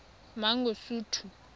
mangosuthu